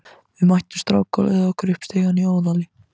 Við mættum strák á leið okkar upp stigann í Óðali.